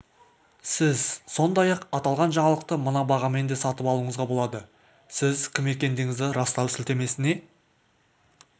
сіз сондай-ақ аталған жаңалықты мына бағамен де сатып алуыңызға болады сіз кім екендігіңізді растау сілтемесіне